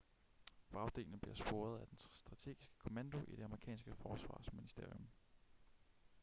vragdelene bliver sporet af den strategiske kommando i det amerikanske forsvarsministerium